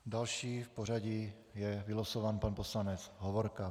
Další v pořadí je vylosován pan poslanec Hovorka.